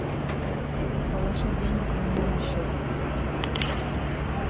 положить денег мне на счет